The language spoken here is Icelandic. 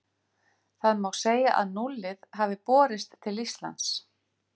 Þá má segja að núllið hafi borist til Íslands.